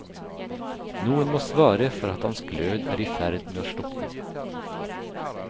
Noen må svare for at hans glød er i ferd med å slukne.